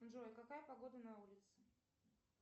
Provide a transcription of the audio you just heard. джой какая погода на улице